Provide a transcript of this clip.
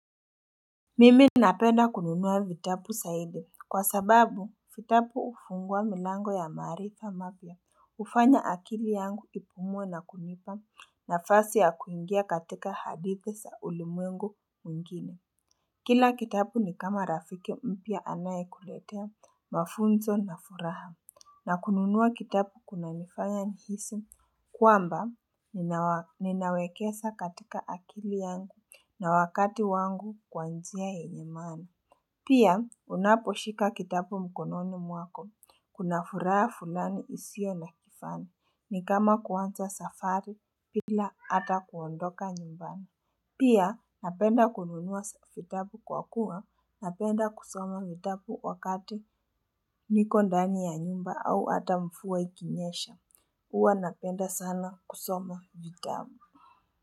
Mimi napeda kununua vitapu saidi kwa sababu vitapu ufungua milango ya maarifa mapya ufanya akili yangu ipumuwe na kunipa nafasi ya kuingia katika hadithi sa ulimwengu mwingine. Kila kitabu ni kama rafiki mpya anayekuletea mafunzo na furaha na kununua kitabu kunanifanya nihisi kwamba nina ninawekesa katika akili yangu na wakati wangu kwa njia yenye maana. Pia unaposhika kitabu mkononi mwako kuna furaha fulani isio na kifani ni kama kuanza safari pila ata kuondoka nyumbani. Pia napenda kununua vitapu kwa kuwa, napenda kusoma vitapu wakati niko ndani ya nyumba au ata mfua ikinyesha, uwa napenda sana kusoma vitapu.